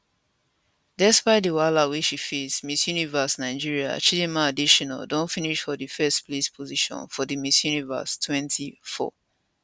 despite di wahala wey she face miss universe nigeria chidimma adetshina don finish for di firstplace position for di miss universe 204